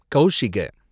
Kaushika